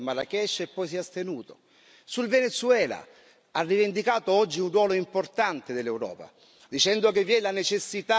Sul Venezuela ha rivendicato oggi un ruolo importante dell'Europa, dicendo che vi è la necessità di parlare una lingua unica.